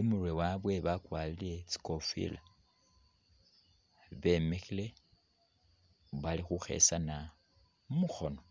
imurwe wawe bakwarire tsi’kofila, bemikhile bali khukhesana mukhono.